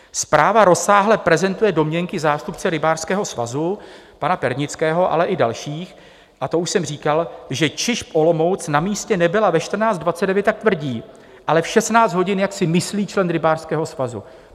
Zpráva rozsáhle prezentuje domněnky zástupce rybářského svazu pana Pernického, ale i dalších, a to už jsem říkal, že ČIŽP Olomouc na místě nebyla ve 14.29, jak tvrdí, ale v 16 hodin, jak si myslí člen rybářského svazu.